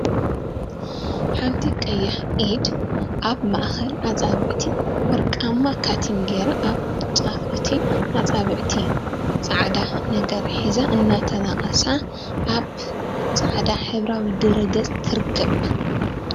ሓንቲ ቀያሕ ኢድ አብ ማእከል አፃብዕቲ ወርቃማ ካቲም ጌራ አብ ጫፍ እቲ አፃብዕቲ ፃዕዳ ነገር ሒዘን እናተነቀሳ አብ ፃዕዳ ሕብራዊ ድሕረ ገፅ ትርከብ፡፡